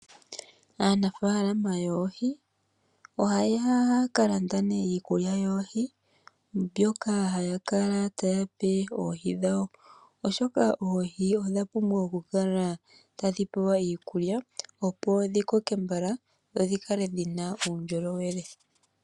Aanafaalama yoohi ohaya kalande ne iikulya yoohi mbyoka hayakala tayepe oohi dhawo oshoka oohi odhapumbwa okukoka